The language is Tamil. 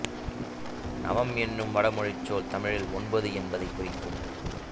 நவம் என்னும் வடமொழிச் சொல் தமிழில் ஒன்பது என்பதைக் குறிக்கும்